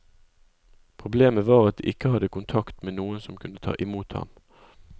Problemet var at de ikke hadde kontakt med noen som kunne ta imot ham.